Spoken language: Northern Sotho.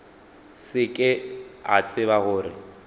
se ke a tseba gore